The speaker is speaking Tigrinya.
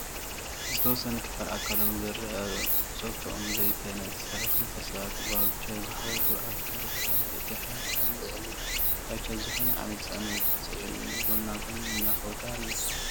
ዝተወሰነ ክፋል ኣካሎም ዝረአ ፆቶኦም ዘይተነፀረ ክልተ ሰባት ብቫውቸር ዝከደዱ ኣካለ ጉዱኣት እቲ ሓደ ኣብታ ልዕሊ ቫይቸር ዝኾነ ዓይነት ፅዕነት ፅዒኑ ጎና ጎኒ እናከዱ ኣለዉ፡፡